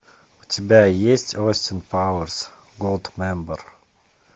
у тебя есть остин пауэрс голдмембер